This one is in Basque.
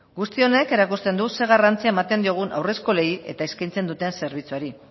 guzti honek erakusten du zein garrantzia ematen diogun haurreskolei eta eskaintzen duten zerbitzuari